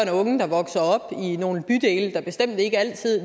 og unge der vokser op i nogle bydele der bestemt ikke altid